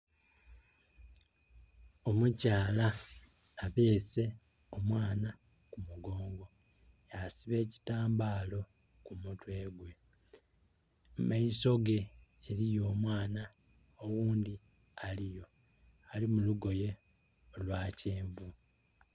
Omukyala abeese omwana ku mugongo ya siba ekitambalo ku mutwe gwe. Mu maiso ge eriyo omwana oghundhi aliyo ali mu lugoye olwa kyenvu.